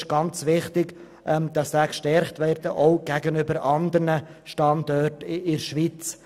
Es ist ganz wichtig, diesen Standort zu stärken, auch gegenüber anderen Standorten in der Schweiz.